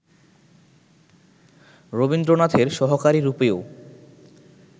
রবীন্দ্রনাথের সহকারী রূপেও